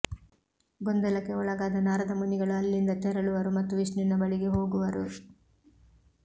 ಗೊಂದಲಕ್ಕೆ ಒಳಗಾದ ನಾರದ ಮುನಿಗಳು ಅಲ್ಲಿಂದ ತೆರಳುವರು ಮತ್ತು ವಿಷ್ಣುವಿನ ಬಳಿಗೆ ಹೋಗುವರು